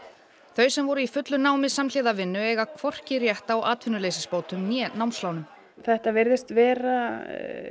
þau sem voru í fullu námi samhliða vinnu eiga hvorki rétt á atvinnuleysisbótum né námslánum þetta virðast vera